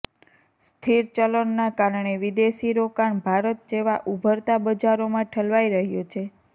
સ્થિર ચલણના કારણે વિદેશી રોકાણ ભારત જેવા ઉભરતા બજારોમાં ઠલવાઇ રહ્યું છે